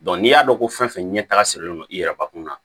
n'i y'a dɔn ko fɛn fɛn ɲɛtaga sirilen don i yɛrɛ bakun na